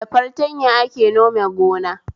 Da fartanya ake nome gona